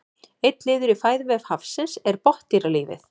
einn liður í fæðuvef hafsins er botndýralífið